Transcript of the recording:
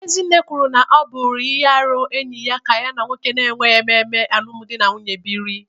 Ezinne kwuru na ọ bụ ihe arụ enyi ya ka ya na nwoke na-emeghị ememe alụmdi na nwunye biri